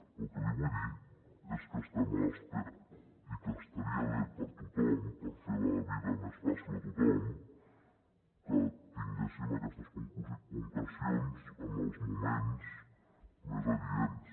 però el que li vull dir és que estem a l’espera i que estaria bé per a tothom per fer la vida més fàcil a tothom que tinguéssim aquestes concrecions en els moments més adients